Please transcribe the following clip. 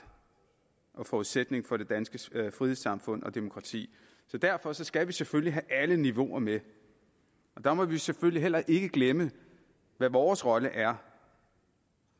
og forudsætning for det danske frihedssamfund og demokrati derfor skal vi selvfølgelig have alle niveauer med og der må vi selvfølgelig heller ikke glemme hvad vores rolle er